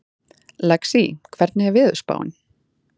Lexí, hvernig er veðurspáin?